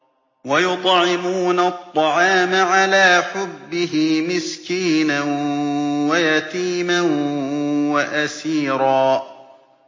وَيُطْعِمُونَ الطَّعَامَ عَلَىٰ حُبِّهِ مِسْكِينًا وَيَتِيمًا وَأَسِيرًا